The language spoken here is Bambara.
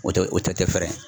O tɛ o tɛ fɛɛrɛ .